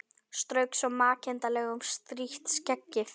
Strauk svo makindalega um strítt skeggið.